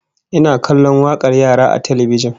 Ina kallon wakar yara a talbijin